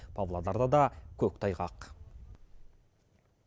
павлодарда да көктайғақ